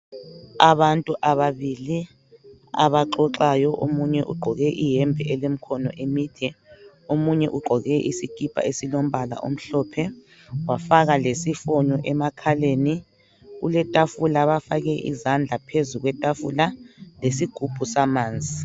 Abantu ababili abaxoxayo omunye ugqoke iyembe elemikhono emide omunye ugqoke isikipa esilombala omhlophe wafaka lemusk emakhaleni kuletafula bafake izandla phezu kwetafula lesigubhu samanzi